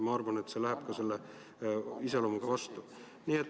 Ma arvan, et see läheb meie põhimõtetega vastuollu.